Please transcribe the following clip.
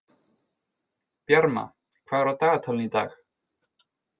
Bjarma, hvað er á dagatalinu í dag?